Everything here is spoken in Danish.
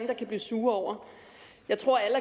der kan blive sure over jeg tror at